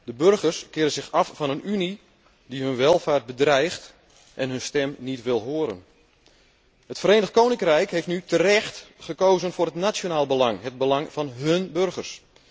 De burgers keren zich af van een Unie die hun welvaart bedreigt en hun stem niet wil horen. Het Verenigd Koninkrijk heeft nu terecht gekozen voor het nationaal belang, het belang van zijn burgers.